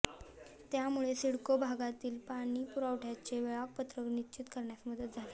त्यामुळे सिडको भागातील पाणीपुरवठ्याचे वेळापत्रक निश्चित होण्यास मदत झाली